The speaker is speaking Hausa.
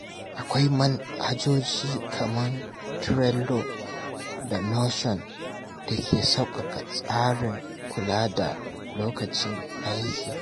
Akwai manhajoji kamar Trello da Notion da ke sauƙaƙa tsarin kula da lokacin aiki.